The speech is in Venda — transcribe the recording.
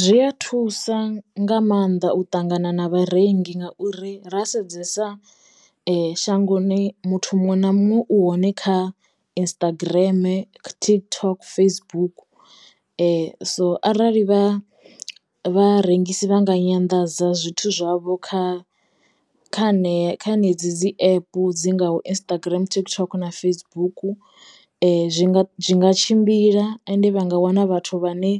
Zwi ya thusa nga mannḓa u ṱangana na vharengi ngauri ra sedzesa shangoni muthu muṅwe na muṅwe u hone kha Instagram, TikTok, Facebook so arali vha vharengisi vha nga nyanḓadza zwithu zwavho kha kha ne kha henedzi dzi epu dzingaho Instagram, TikTok na Facebook zwi nga zwi nga tshimbila ende vha nga wana vhathu vha ne